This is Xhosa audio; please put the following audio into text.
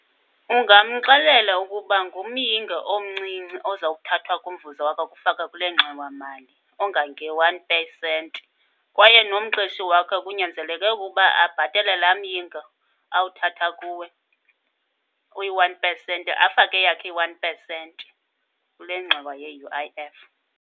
Ungamxelela ukuba ngumyinge omncinci ozawuthathwa kumvuzo wakhe akufaka kule ngxowamali ongange-one percent. Kwaye nomqeshi wakhe kunyanzeleke ukuba abhatale lamyinge awuthatha kuwe uyi-one percent, afake eyakhe i-one percent kule ngxowa yeU_I_F.